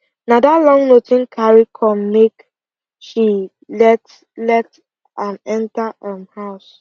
na that long note him carry come make she let let am enter um house